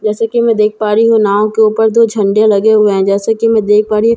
जैसे कि मैं देख पा रही हूं नाव के ऊपर दो झंडे लगे हुए हैं जैसे कि मैं देख पा रही--